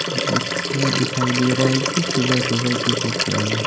जिसमें दिखाई दे रहा है कि सुबह सुबह की फोटो है।